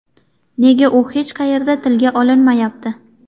Nega u hech qayerda tilga olinmayapti?